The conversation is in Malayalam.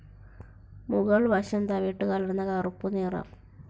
മുകൾ വശം തവിട്ടുകലർന്ന കറുപ്പുനിറം.